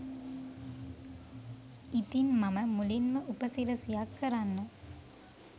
ඉතින් මම මුලින්ම උපසිරසියක් කරන්න